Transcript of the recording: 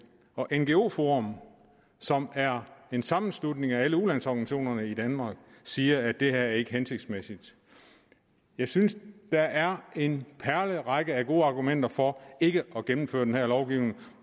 og ngo forum som er en sammenslutning af alle ulandsorganisationer i danmark siger at det her ikke er hensigtsmæssigt jeg synes at der er en perlerække af gode argumenter for ikke at gennemføre den her lovgivning